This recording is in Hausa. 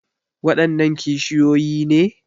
Waɗannan kishiyoyi ne?